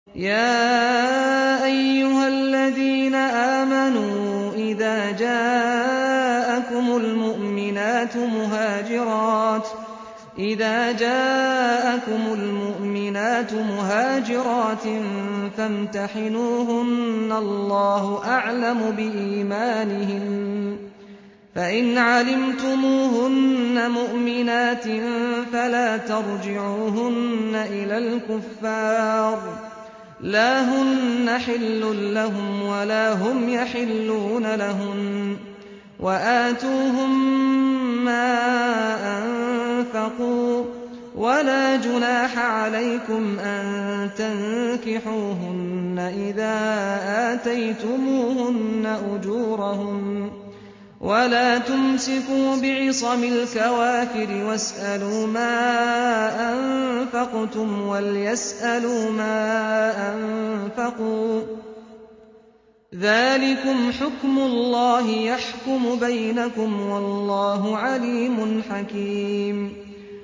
يَا أَيُّهَا الَّذِينَ آمَنُوا إِذَا جَاءَكُمُ الْمُؤْمِنَاتُ مُهَاجِرَاتٍ فَامْتَحِنُوهُنَّ ۖ اللَّهُ أَعْلَمُ بِإِيمَانِهِنَّ ۖ فَإِنْ عَلِمْتُمُوهُنَّ مُؤْمِنَاتٍ فَلَا تَرْجِعُوهُنَّ إِلَى الْكُفَّارِ ۖ لَا هُنَّ حِلٌّ لَّهُمْ وَلَا هُمْ يَحِلُّونَ لَهُنَّ ۖ وَآتُوهُم مَّا أَنفَقُوا ۚ وَلَا جُنَاحَ عَلَيْكُمْ أَن تَنكِحُوهُنَّ إِذَا آتَيْتُمُوهُنَّ أُجُورَهُنَّ ۚ وَلَا تُمْسِكُوا بِعِصَمِ الْكَوَافِرِ وَاسْأَلُوا مَا أَنفَقْتُمْ وَلْيَسْأَلُوا مَا أَنفَقُوا ۚ ذَٰلِكُمْ حُكْمُ اللَّهِ ۖ يَحْكُمُ بَيْنَكُمْ ۚ وَاللَّهُ عَلِيمٌ حَكِيمٌ